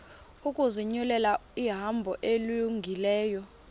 ukuzinyulela ihambo elungileyo